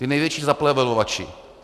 Ti největší zaplevelovači.